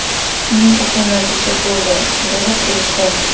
Shuning uchun natija bo‘ldi”, – dedi Prezident.